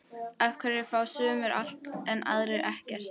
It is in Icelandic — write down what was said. Af hverju fá sumir allt en aðrir ekkert?